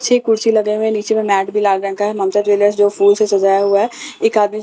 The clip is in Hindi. छह कुर्सी लगे हुए हैं नीचे में मैट भी लाल रंग का है ममता ज्वेलर्स जो फूल से सजाया हुआ है एक आदमी म --